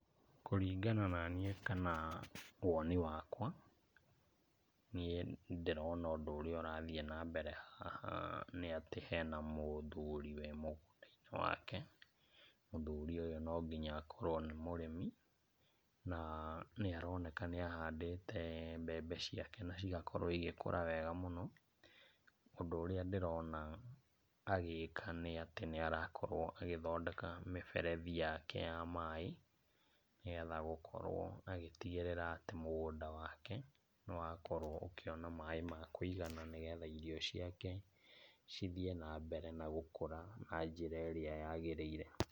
Kũringana na niĩ kana woni wakwa niĩ ndĩrona ũndũ ũrĩa ũratrhiĩ na mbere haha nĩ atĩ hena mũthuri wĩ mũgũnda-inĩ wake. Mũthuri ũyũ no nginya akorwo nĩ mũrĩmi, na nĩ aroneka nĩ ahandĩte mbembe ciake na cigakorwo igĩkũra wega mũno. Ũndũ ũrĩa ndĩrona agĩka nĩ atĩ nĩ arakorwo agĩthondeka mĩberethi yake ya maaĩ nĩgetha gũkorwo agĩtigĩrĩra atĩ, mũgũnda wake nĩ wakorwo ũkĩona maaĩ ma kũigana nĩgetha irio ciake cithiĩ na mbere na gũkũra na njĩra ĩrĩa yagĩrĩire.